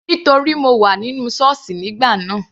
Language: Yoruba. Nítorí mo wà nínú sọ́ọ̀sì nígbà náà.